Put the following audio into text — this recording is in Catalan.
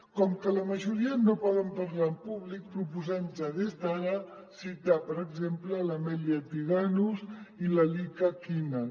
com que la majoria no poden parlar en públic proposem ja des d’ara citar per exemple l’amelia tiganus i l’alika kinan